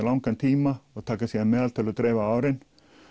langan tíma og taka síðan meðaltöl og dreifa á árin